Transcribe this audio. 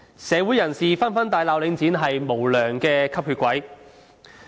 社會人士紛紛大罵領展是無良吸血鬼。